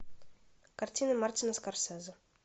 картина мартина скорсезе